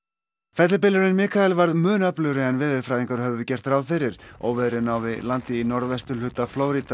fellibylurinn Mikael varð mun öflugri en veðurfræðingar höfðu gert ráð fyrir óveðrið náði landi í norðvesturhluta Flórída